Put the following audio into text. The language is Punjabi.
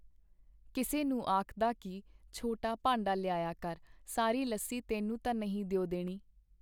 ਕਿਸੇ ਨੂੰ ਆਖਦਾ ਕੀ ਛੋਟਾ ਭਾਂਡਾ ਲਿਆਇਆ ਕਰ, ਸਾਰੀ ਲੱਸੀ ਤੈਨੂੰ ਤਾਂ ਨਹੀਂ ਦਿਓ ਦੇਣੀ.